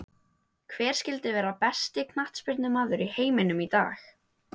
Hver skyldi vera besti knattspyrnumaður í heiminum í dag?